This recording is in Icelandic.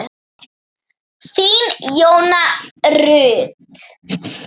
Þín, Jóna Rut.